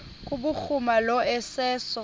kubhuruma lo iseso